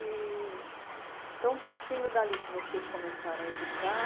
E... Então, partindo dali que vocês começaram a educar,